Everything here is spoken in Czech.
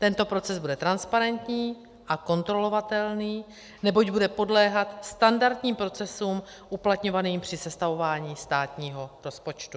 Tento proces bude transparentní a kontrolovatelný, neboť bude podléhat standardním procesům uplatňovaným při sestavování státního rozpočtu.